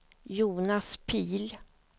Jonas Pihl